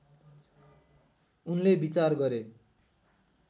उनले विचार गरे